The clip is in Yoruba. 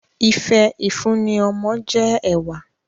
Ife ifunni ọmọ jẹ ẹwà